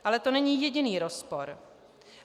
Ale to není jediný rozpor.